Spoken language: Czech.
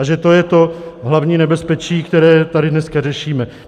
A že to je to hlavní nebezpečí, které tady dneska řešíme.